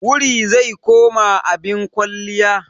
Wuri zai koma abin kwalliya.